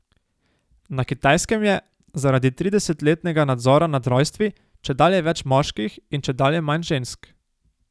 Na Kitajskem je, zaradi tridesetletnega nadzora nad rojstvi, čedalje več moških in čedalje manj žensk.